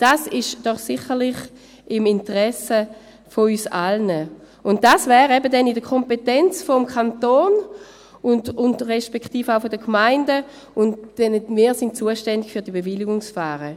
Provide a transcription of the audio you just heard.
Dies ist doch sicherlich im Interesse von uns allen, und dies wäre eben dann in der Kompetenz des Kantons respektive auch der Gemeinden, denn wir sind zuständig für diese Bewilligungsverfahren.